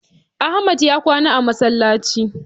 Ahmad ya kwana a masallaci